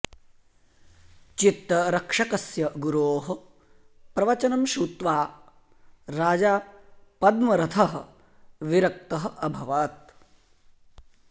चित्तरक्षस्य गुरोः प्रवचनं श्रुत्वा राजा पद्मरथः विरक्तः अभवत्